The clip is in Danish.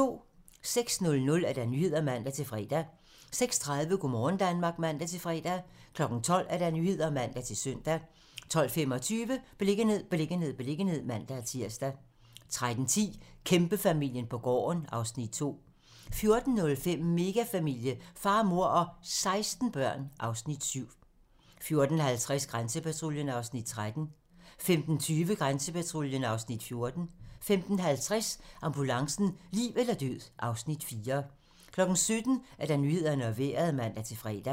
06:00: Nyhederne (man-fre) 06:30: Go' morgen Danmark (man-fre) 12:00: Nyhederne (man-søn) 12:25: Beliggenhed, beliggenhed, beliggenhed (man-tir) 13:10: Kæmpefamilien på gården (Afs. 2) 14:05: Megafamilie - far, mor og 16 børn (Afs. 7) 14:50: Grænsepatruljen (Afs. 13) 15:20: Grænsepatruljen (Afs. 14) 15:50: Ambulancen - liv eller død (Afs. 4) 17:00: Nyhederne og Vejret (man-fre)